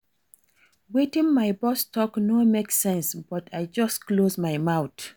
Wetin my boss talk no make sense but I just close my mouth